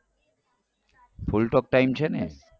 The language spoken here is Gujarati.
full talktime છે ને?